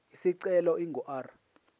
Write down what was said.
isicelo ingu r